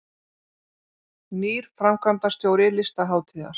Nýr framkvæmdastjóri Listahátíðar